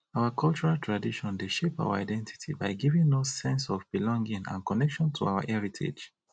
our cultural tradition dey shape our identity by giving us sense of belonging and connection to our heritage